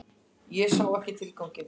Ég sá ekki tilganginn.